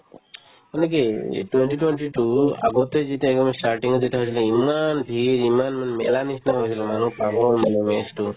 মানে কি এই twenty twenty তো আগতে যেতিয়া একেবাৰে starting ত যেতিয়া চাইছিলো ইমান ভিৰ ইমান মানে মেলাৰ নিচিনা হৈছিল মানুহ পাগল মানে match তো